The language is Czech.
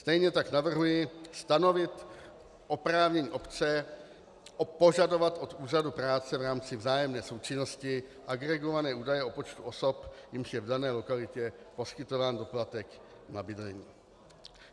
Stejně tak navrhuji stanovit oprávnění obce požadovat od úřadu práce v rámci vzájemné součinnosti agregované údaje o počtu osob, jimž je v dané lokalitě poskytován doplatek na bydlení.